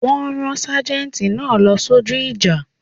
Wọ́n rán sâjéntì náà lọ sójú ìjà